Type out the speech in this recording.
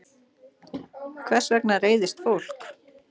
Hvers vegna reiðist fólk?